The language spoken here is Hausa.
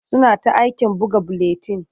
Suna ta aikin buga buletin.